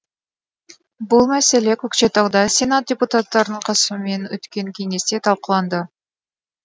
бұл мәселе көкшетауда сенат депутаттарының қатысумен өткен кеңесте талқыланды